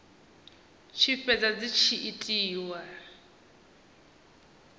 tshi fhedza dzi tshi itiwa